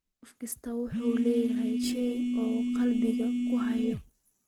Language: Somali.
Qof kastaa wuxuu leeyahay shay uu qalbiga ku hayo.